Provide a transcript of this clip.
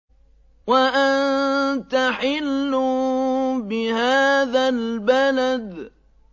وَأَنتَ حِلٌّ بِهَٰذَا الْبَلَدِ